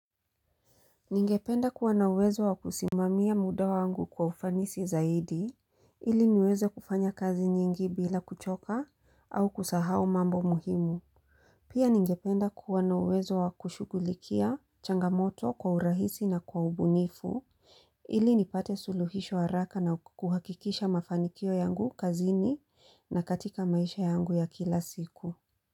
Ningependa kuwa na uwezo wakusimamia muda wangu kwa ufanisi zaidi ili niweze kufanya kazi nyingi bila kuchoka au kusahau mambo muhimu. Pia ningependa kuwa na uwezo wakushugulikia changamoto kwa urahisi na kwa ubunifu ili nipate suluhisho haraka na kuhakikisha mafanikio yangu kazini na katika maisha yangu ya kila siku.